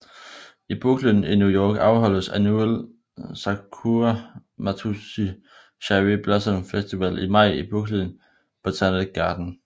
I Brooklyn i New York afholdes Annual Sakura Matsuri Cherry Blossom Festival i maj i Brooklyn Botanic Garden